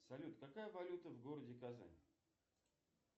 салют какая валюта в городе казань